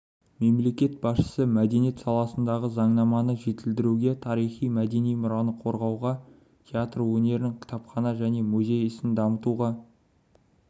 мемлекет басшысы мәдениет саласындағы заңнаманы жетілдіруге тарихи-мәдени мұраны қорғауға театр өнерін кітапхана және музей ісін дамытуға